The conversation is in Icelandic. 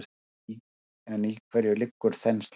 En í hverju liggur þenslan?